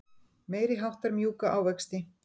Meiriháttar mjúka ávexti.